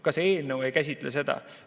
Ka see eelnõu ei käsitle seda.